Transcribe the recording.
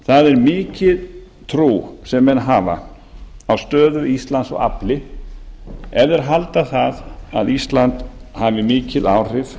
það er mikil trú sem menn hafa á stöðu íslands og afli ef þeir halda að ísland hafi mikil áhrif